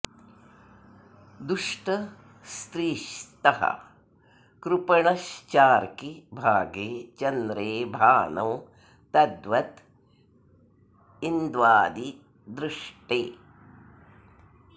दुष्ट स्त्रीष्तः कृपणश्चार्कि भागे चन्द्रे भानौ तद्वद् इन्द्वादि दृष्टे